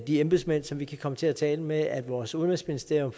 de embedsmænd som vi kan komme til at tale med at vores udenrigsministerium